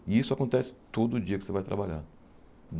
E isso acontece todo dia que você vai trabalhar.